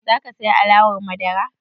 Za ka saya alewar madara?